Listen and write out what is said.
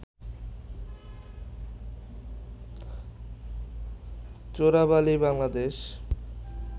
Chorabali Bangladesh